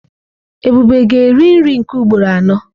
Ebube ga-eri nri nke ugboro anọ?